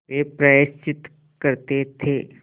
वे प्रायश्चित करते थे